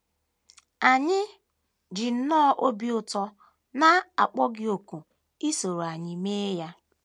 Anyị ji nnọọ obi ụtọ na - akpọ gị òkù isoro anyị mee ya ya.